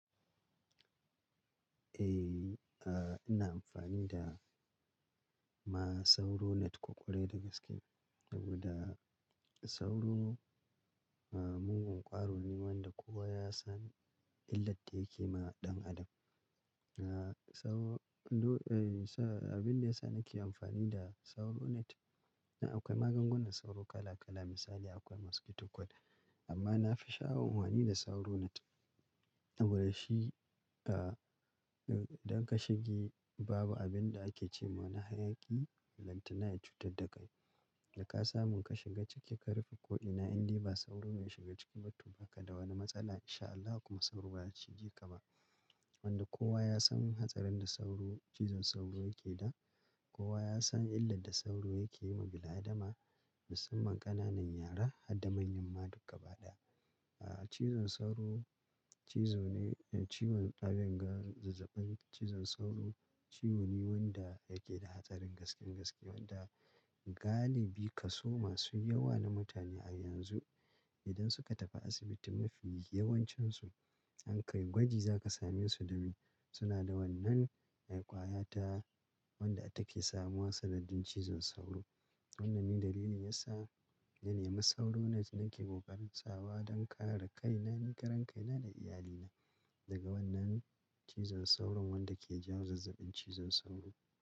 Eh, ina amfani da ma sauro net ƙwarai da gaske. Saboda sauro, ah, mugun gwaro ne wanda kowa ya san illar da yake ma ɗan adam. Ah, sauro-- eh, sa-- abinda yasa nake amfani da sauro net, akwai maganganun sauro kala kala misali akwai mosquito coil amma nafi sha'awar amfani da sauro net. Saboda shi, ah, idan ka shige babu abinda ake cema na hayaƙi ballantana ya cutar da kai. Da ka samu ka shiga ciki ka rufe ko'ina, indai ba sauro ya shiga ciki ba to ba kada wani matsala insha Allah kuma sauro ba ya shige ka ba. Wanda kowa yasan hatsarin da sauro, cizon sauro yake da, kowa ya san illar da sauro yake yi ma bil-adama, musamman ƙananan yara harda manyamma duk gaba ɗaya. Ah, cizon sauro cizo ne-- ciwon abinga zazzaɓin cizon sauro ciwo ne wanda yake da hatsarin gasken-gaske wanda galibi kaso masu yawa na mutane a yanzu idan suka tafi asibiti mafi yawancinsu an kai gwaji zaka same su da me? Suna da wannan mai ƙwayata wanda take samuwa sanadin cizon sauro. Wannan ne dalilin yasa na nemi sauro net nake ƙoƙarin sawa don kare kaina, ni karen kaina da iyalina daga wannan cizon sauro wanda ke jawo zazzabin cizon sauro.